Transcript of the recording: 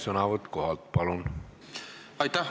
Sõnavõtt kohalt, palun!